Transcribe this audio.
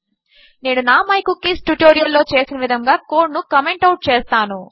నేను నా my cookies tutorial లో చేసిన విధముగా కోడ్ ను కామెంట్ అవుట్ చేస్తాను